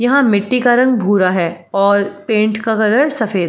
यहां मिट्टी का रंग भूरा रहा है और पेंट का कलर सफेद --